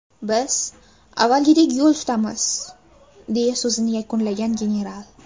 Biz avvalgidek yo‘l tutamiz”, deya so‘zini yakunlagan general.